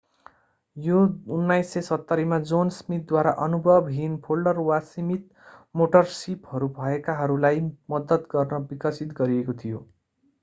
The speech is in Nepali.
यो 1970 मा जोन स्मिथद्वारा अनुभवहीन फोल्डर वा सीमित मोटर सिपहरू भएकाहरूलाई मद्दत गर्न विकसित गरिएको थियो